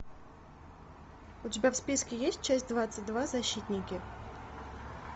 у тебя в списке есть часть двадцать два защитники